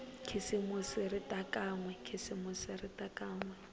khisimusi ri ta kan we